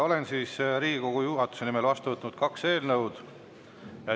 Olen Riigikogu juhatuse nimel vastu võtnud kaks eelnõu.